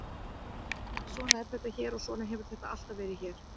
Svona er þetta hér og svona hefur þetta alltaf verið hér.